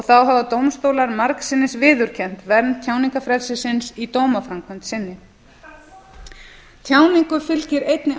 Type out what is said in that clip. hafa dómstólar margsinnis viðurkennt vernd tjáningarfrelsisins í dómaframkvæmd sinni tjáningu fylgir einnig